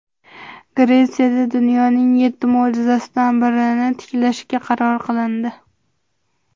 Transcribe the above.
Gretsiyada dunyoning yetti mo‘jizasidan birini tiklashga qaror qilindi.